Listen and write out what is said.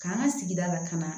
K'an ka sigida lakana